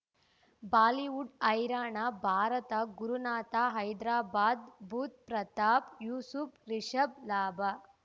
Bollywood ಹೈರಾಣ ಭಾರತ ಗುರುನಾಥ ಹೈದರಾಬಾದ್ ಬುಧ್ ಪ್ರತಾಪ್ ಯೂಸುಪ್ ರಿಷಬ್ ಲಾಭ